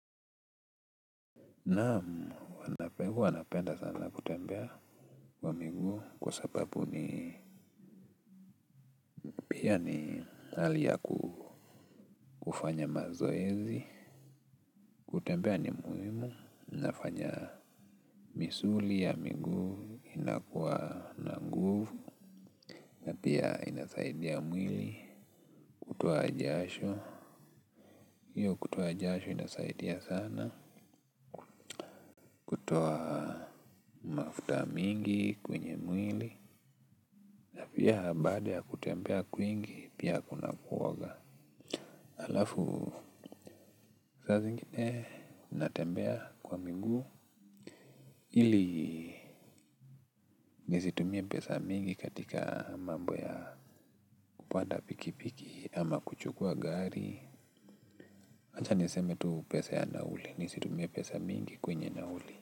Na huwanapegu huwanapenda sana kutembea wa miguu kwa sapapu ni pia ni hali ya kufanya mazoezi, kutembea ni muimu, nafanya misuli ya miguu, inakuwa na nguvu, na pia inasaidia mwili, kutoa ajasho, hiyo kutoa ajasho inasaidia sana, kutoa mafuta mingi kwenye mwili na pia baada ya kutembea kwingi pia kuna kuoga. Alafu saa zingine natembea kwa miguu ili nisitumie pesa mingi katika mambo ya kupanda pikipiki ama kuchukua gari. Ancha niseme tu pesa ya nauli nisitumie pesa mingi kwenye nauli.